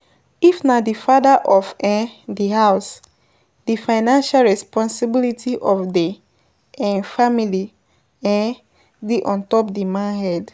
If na di father of um di house, di financial responsibility of di um family um dey ontop di man head